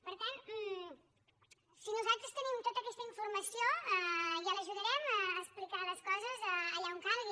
per tant si nosaltres tenim tota aquesta informació ja l’ajudarem a explicar les coses allà on calgui